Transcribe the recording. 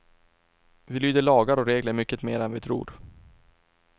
Vi lyder lagar och regler mycket mera än vi tror.